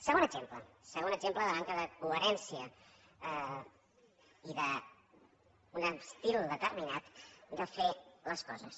segon exemple segon exemple de manca de coherència i d’un estil determinat de fer les coses